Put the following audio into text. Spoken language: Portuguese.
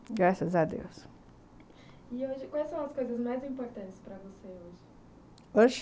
Graças a Deus... E hoje quais são as coisas mais importantes para você hoje? hoje?